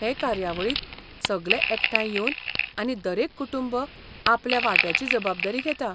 हे कार्यावळीक सगले एकठांय येवन आनी दरेक कुटुंब आपल्या वांट्याची जबाबदारी घेता.